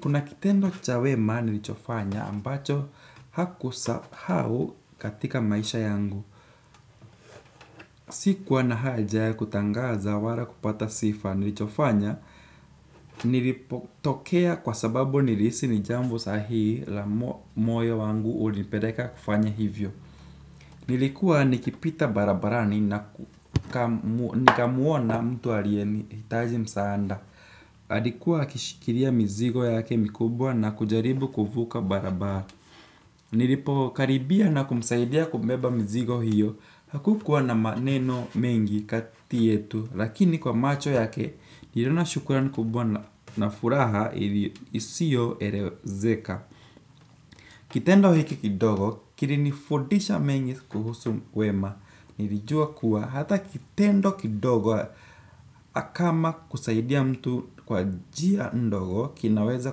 Kuna kitendo cha wemaa nilichofanya ambacho hakusahau katika maisha yangu. Sikuwa na haja ya kutangaza wala kupata sifa nilichofanya nilipotokea kwa sababu nilihisi ni jambo sahii la mo moyo wangu ulipeleka kufanya hivyo. Nilikuwa nikipita barabarani na ku nikamu nikamuona mtu aliye nihitaji msaanda. Alikuwa akishikilia mizigo yake mikubwa na kujaribu kuvuka barabara. Nilipokaribia na kumsaidia kumbeba mizigo hiyo. Hakukuwa na maneno mengi kati yetu. Lakini kwa macho yake nilona shukran kubwa na furaha ili isiyoerezeka. Kitendo hiki kidogo kirinifudisha mengi kuhusu wema. Nirijua kuwa hata kitendo kidogo akama kusaidia mtu kwa njia ndogo kinaweza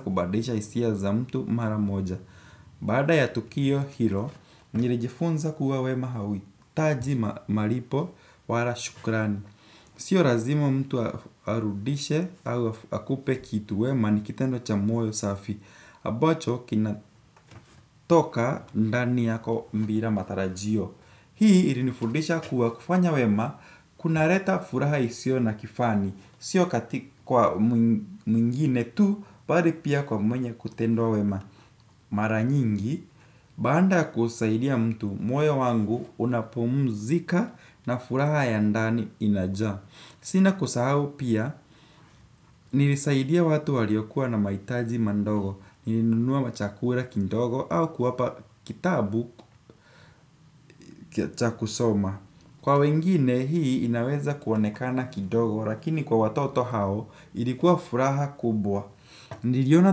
kubadirisha hisia za mtu mara moja. Bada ya tukio hilo nirijifunza kuwa wema hahuhitaji malipo wala shukrani. Sio razimo mtu arudishe au akupe kitu wema ni kitendo cha moyo safi ambacho kinatoka ndani yako mbira matarajio. Hii ilinifudisha kuwa kufanya wema kunareta furaha isiyo na kifani. Sio katika kwa mwingine tu baari pia kwa mwenye kutendwa wema. Mara nyingi, baanda ya kusaidia mtu moyo wangu unapomuzika na furaha ya ndani inajaa. Sina kusahau pia, nilisaidia watu waliokuwa na mahitaji mandogo. Nilinunua machakula kindogo au kuwapa kitabu cha kusoma. Kwa wengine, hii inaweza kuonekana kidogo, lakini kwa watoto hao, ilikuwa furaha kubwa. Niliona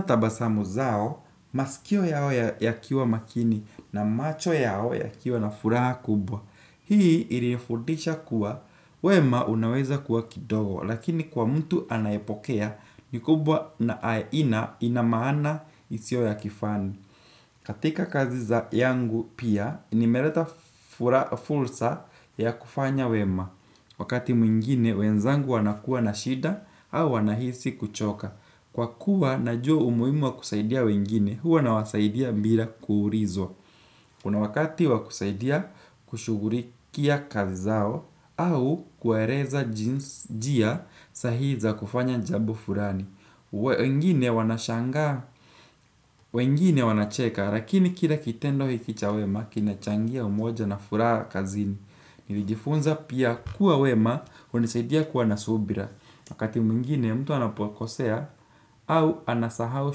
tabasamu zao, masikio yao ya yakiwa makini, na macho yao yakiwa na furaha kubwa. Hii ilinifundisha kuwa, wema unaweza kuwa kidogo, lakini kwa mtu anayepokea, ni kubwa na aina ina maana isiyo ya kifani. Katika kazi za yangu pia, nimereta furaha ffursa ya kufanya wema. Wakati mwingine, wenzangu wanakuwa na shida au wanahisi kuchoka. Kwa kuwa, najua umuhimu wa kusaidia wengine, huwa nawasaidia mbira kuurizwa. Kuna wakati wa kusaidia kushugurikia kazi zao au kuereza jinsi njia sahii za kufanya jambo furani. Uwe wengine wanashanga, wengine wanacheka, lakini kila kitendo hiki cha wema, kinachangia umoja na furaha kazini. Nilijifunza pia kuwa wema, hunisaidia kuwa na subira, wakati mwingine mtu anapokosea, au anasahau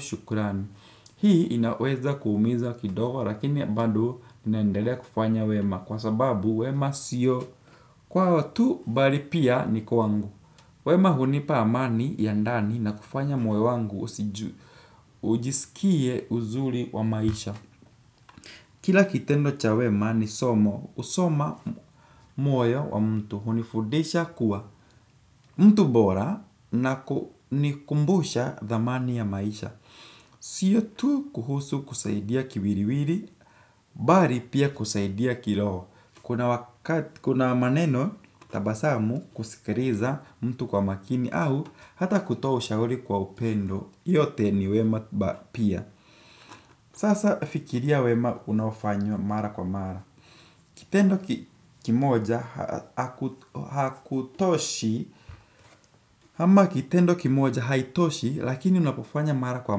shukrani. Hii inaweza kuumiza kidogo, lakini mbado naendelea kufanya wema, kwa sababu wema siyo. Kwao tu, bari pia ni kwangu. Wema hunipa amani ya ndani na kufanya moyo wangu usiju ujisikie uzuri wa maisha. Kila kitendo cha wema ni somo. Husoma moyo wa mtu hunifundisha kuwa mtu bora na kunikumbusha dhamani ya maisha. Siyo tu kuhusu kusaidia kiwiriwiri, bali pia kusaidia kiroho. Kuna maneno tabasamu kusikiriza mtu kwa makini au hata kutoa ushauri kwa upendo. Yote ni wema ba pia. Sasa fikiria wema unaofanya mara kwa mara. Kitendo ki kimoja ha haku hakutoshi. Ama kitendo kimoja haitoshi lakini unapofanya mara kwa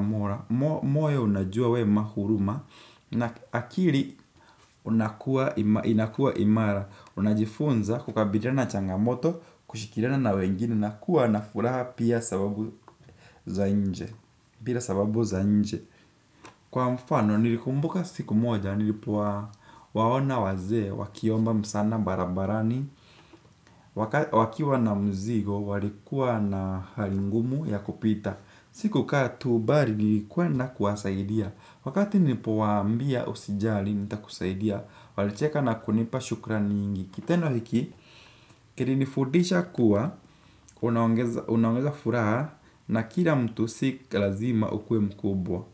mora mo moyo unajua wema huruma na akili na ku inakua imara. Unajifunza kukabiriana na changamoto kushikirana na wengine na kuwa na furaha pia sababu za nje. Pia sababu za nje. Kwa mfano nilikumbuka siku moja nilipowa waona wazee wakiomba msana barabarani. Wakiwa na mzigo walikuwa na hali ngumu ya kupita. Sikukaa tu bari nilikwenda kuwasaidia. Wakati nilipowaambia usijali nitakusaidia. Walicheka na kunipa shukrami nyingi. Kitendo hiki, kirinifudisha kuwa, unaongeza unaongeza furaha na kila mtu si kilazima ukuwe mkubwa.